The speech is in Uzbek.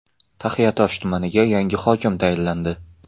Taxiatosh tumaniga yangi hokim tayinlandi.